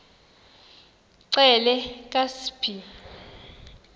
xelel kabs iphi